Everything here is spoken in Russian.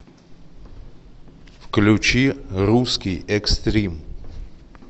включи русский экстрим